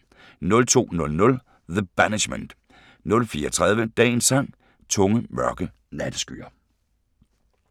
02:00: The Banishment 04:30: Dagens Sang: Tunge, mørke natteskyer *